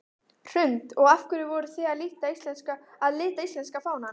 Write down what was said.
Hrund: Og af hverju voruð þið að lita íslenska fánann?